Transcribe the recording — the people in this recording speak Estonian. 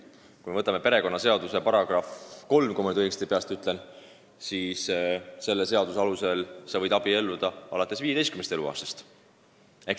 Kui me võtame perekonnaseaduse § 3 – kui ma nüüd peast õigesti mäletan –, siis selle sätte alusel sa võid abielluda alates 15. eluaastast.